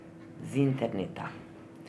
Z interneta.